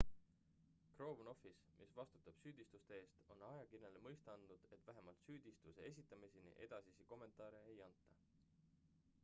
crown office mis vastutab süüdistuste eest on ajakirjanikele mõista andnud et vähemalt süüdistuse esitamiseni edasisi kommentaare ei anta